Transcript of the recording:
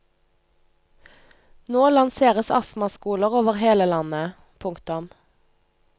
Nå lanseres astmaskoler over hele landet. punktum